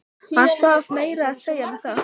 Hann svaf meira að segja með það.